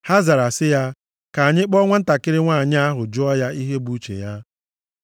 Ha zara sị ya, “Ka anyị kpọọ nwantakịrị nwanyị ahụ jụọ ya ihe bụ uche ya.”